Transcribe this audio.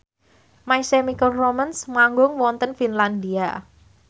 My Chemical Romance manggung wonten Finlandia